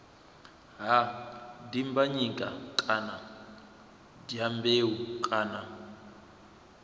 ha dimbanyika kana dyambeu kana